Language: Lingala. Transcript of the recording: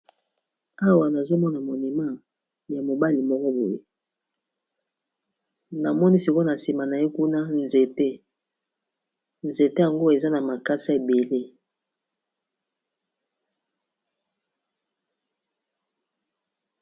awa nazomona monema ya mobali moko boye namoni sikona nsima na ye kuna nzete nzete yango eza na makasa ebele